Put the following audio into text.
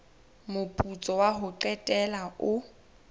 moputso wa ho qetela o